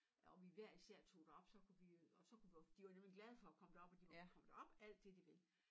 Øh og vi hver især tog derop så kunne vi øh og så kunne vi og for de var nemlig glade for at komme derop og de kunne komme derop alt det de vil